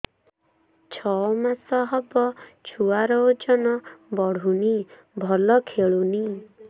ଛଅ ମାସ ହବ ଛୁଆର ଓଜନ ବଢୁନି ଭଲ ଖେଳୁନି